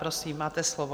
Prosím, máte slovo.